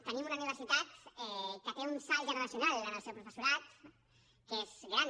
tenim una universitat que té un salt generacional en el seu professorat que és gran